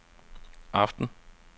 aften